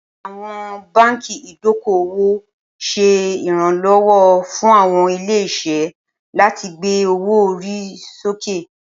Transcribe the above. Awọn banki idoko-owo ṣe iranlọwọ fun awọn ile-iṣẹ lati gbe owo-ori soke.